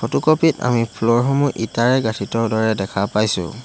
Photocopy ত আমি ফ্লৰ সমূহ ইটাৰে গাঁঠি থোৱা দৰে দেখা পাইছোঁ।